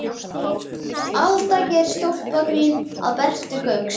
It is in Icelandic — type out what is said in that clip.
Alda gerir stólpagrín að Bertu Gauks.